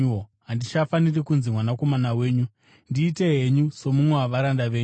Handichafaniri kunzi mwanakomana wenyu, ndiitei henyu somumwe wavaranda venyu.’